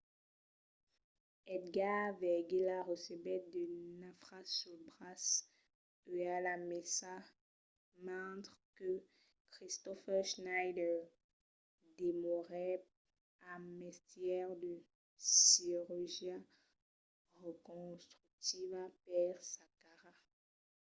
edgar veguilla recebèt de nafras sul braç e a la maissa mentre que kristoffer schneider demorèt amb mestièr de cirurgia reconstructiva per sa cara